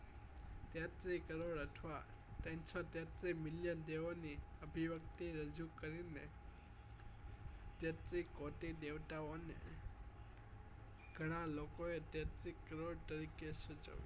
તેત્રી કરોડ અથવા તત્રણસો તેત્રી million દેવો ની અભિવ્ક્તી રજુ કરી મેં તેત્રી કોટી દેવતા ઓ ને ગણા લોકો એ તેત્રી કરોડ તરીકે